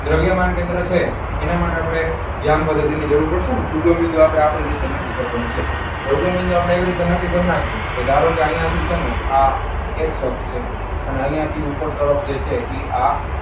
દ્રવ્યમાન કેન્દ્ર છે, એના માટે આપણે જરૂર પડશે ને આપણે આપણી રીતે નક્કી કરવાનું છે. દ્રવ્યમાન કેન્દ્રની રીત આપણે આપણી રીતે નક્કી કરી નાખી. કે ધારો કે અહીંયા થી છે ને આ એક છે. અને અહીંયા થી ઉપર તરફ છે તે ઈ આ,